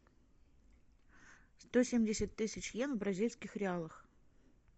сто семьдесят тысяч йен в бразильских реалах